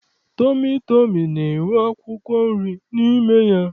Tọmị tọmị na-enwe akwụkwọ nri n'ime ya.